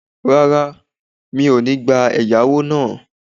Rárá, mi o ni gba ẹ̀yáwó náà